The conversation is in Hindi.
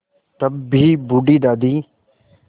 तब भी बूढ़ी दादी